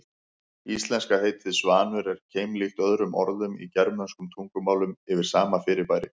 Íslenska heitið svanur er keimlíkt öðrum orðum í germönskum tungumálum yfir sama fyrirbæri.